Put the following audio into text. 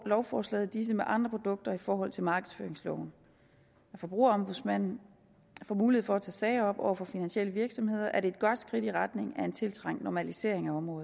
lovforslaget disse med andre produkter i forhold til markedsføringsloven forbrugerombudsmanden får mulighed for at tage sager op over for finansielle virksomheder er et godt skridt i retning af en tiltrængt normalisering af området